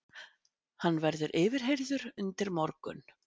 Hann verður yfirheyrður undir morgun